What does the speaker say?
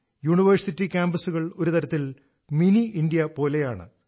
university കാമ്പസുകൾ ഒരു തരത്തിൽ മിനി ഇന്ത്യ പോലെയാണ്